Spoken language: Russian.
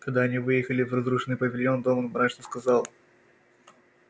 когда они выехали в разрушенный павильон донован мрачно сказал